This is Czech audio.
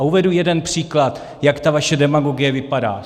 A uvedu jeden příklad, jak ta vaše demagogie vypadá.